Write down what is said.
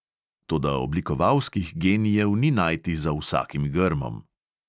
Toda oblikovalskih genijev ni najti za vsakim grmom.